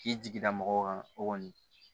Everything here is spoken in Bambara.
K'i jigi da mɔgɔw kan o kɔni